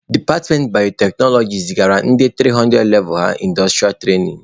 Departmentị bayoteknoloji zigara ndị 300 levụ ha ịndọstụrịa trainin.